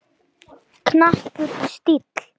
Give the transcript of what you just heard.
Knappur stíll.